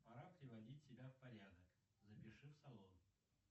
пора приводить себя в порядок запиши в салон